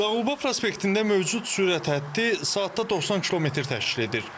Zağulba prospektində mövcud sürət hədti saatda 90 kilometr təşkil edir.